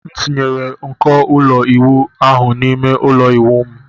M tinyere nko ụlọ ịwụ ahụ n'ime ụlọ ịwụ m...